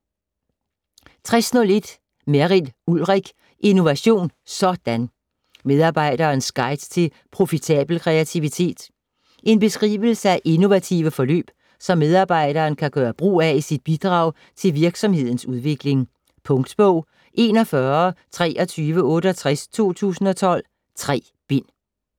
60.1 Merrild, Ulrik: Innovation - sådan!: Medarbejderens guide til profitabel kreativitet En beskrivelse af innovative forløb som medarbejderen kan gøre brug af i sit bidrag til virksomhedens udvikling. Punktbog 412368 2012. 3 bind.